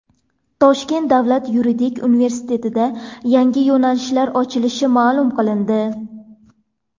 Toshkent davlat yuridik universitetida yangi yo‘nalishlar ochilishi ma’lum qilindi.